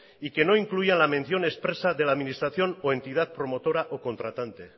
y que no incluyan la mención expresa de la administración o entidad promotora o contratante